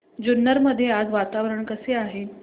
जुन्नर मध्ये आज वातावरण कसे आहे